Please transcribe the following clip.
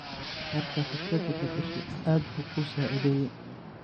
Marka firkadha badashe aad buu kuusacideye.